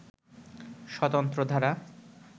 স্বতন্ত্র ধারা